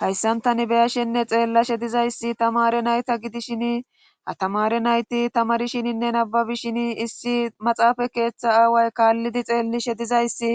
hayssanctani beyashenne xeellashe dizayssi tamare nayta gidishin a tamare nayti tamarishininne nababishini issi maxaafa keeththa aaway kaallidi xeellishe dizayssi